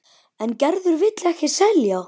En Gerður vill ekki selja.